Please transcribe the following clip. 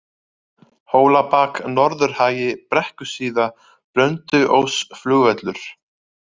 Hólabak, Norðurhagi, Brekkusíða, Blönduóssflugvöllur